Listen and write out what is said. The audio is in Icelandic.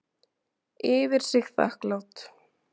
Yfir sig þakklát.